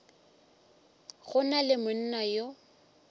go na le monna yo